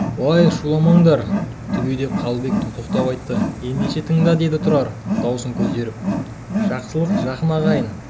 уай шуламаңдар түге деп қабылбек тоқтау айтты ендеше тыңда деді тұрар дауысын көтеріп жақсылық жақын ағайын